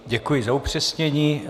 Děkuji za upřesnění.